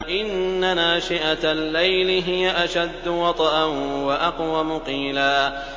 إِنَّ نَاشِئَةَ اللَّيْلِ هِيَ أَشَدُّ وَطْئًا وَأَقْوَمُ قِيلًا